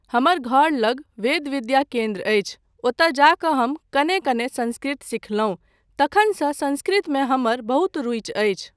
हमर घर लग वेद विद्या केन्द्र अछि, ओतय जा कऽ हम कने कने संस्कृत सिखलहुँ, तखनसँ संस्कृतमे हमर बहुत रूचि अछि।